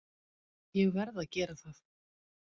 Ég verð að gera það.